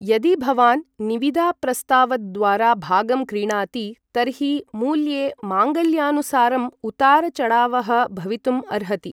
यदि भवान् निविदाप्रस्तावद्वारा भागं क्रीणाति तर्हि मूल्ये माङ्गल्यानुसारं उतार चढावः भवितुम् अर्हति ।